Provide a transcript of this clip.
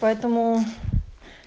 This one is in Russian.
поэтому